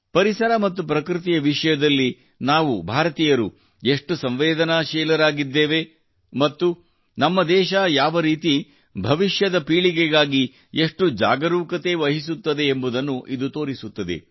ಪರಿಸರ ಮತ್ತು ಪ್ರಕೃತಿಯ ವಿಷಯದಲ್ಲಿ ನಾವು ಭಾರತೀಯರು ಎಷ್ಟು ಸಂವೇದನಾಶೀಲರಾಗಿದ್ದೇವೆ ಮತ್ತು ನಮ್ಮ ದೇಶ ಯಾವರೀತಿ ಭವಿಷ್ಯದ ಪೀಳಿಗೆಗಾಗಿ ಎಷ್ಟು ಜಾಗರೂಕತೆ ವಹಿಸುತ್ತದೆ ಎಂಬುದನ್ನು ಇದು ತೋರಿಸುತ್ತದೆ